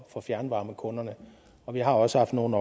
for fjernvarmekunderne og vi har også haft nogle